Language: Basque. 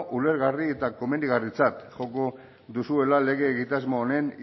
ulergarri eta komenigarritzat joko duzuela lege egitasmo honen